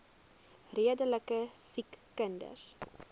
redelike siek kinders